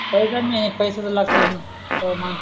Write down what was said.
पैसे नाही पैसा तर लागतोच णा तव माणूस